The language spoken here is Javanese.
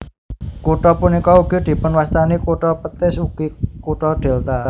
Kutha punika ugi dipunwastani kutha petis ugi kutha delta